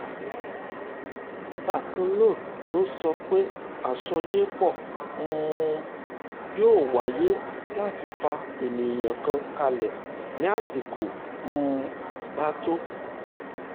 bákan náà ló sọ pé àsọyépọ̀ um yóò wáyé láti fa èèyàn kalẹ̀ tí àsìkò um bá tó